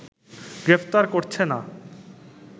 গ্রেফতার করছে না